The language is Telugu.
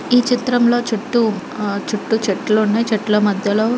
ఈ చిత్రం లో చుట్టూ చుట్టూ చెట్లునాయ్ చెట్ల మధ్యలో --